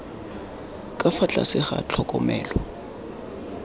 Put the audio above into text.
ka fa tlase ga tlhokomelo